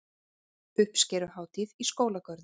Uppskeruhátíð í skólagörðum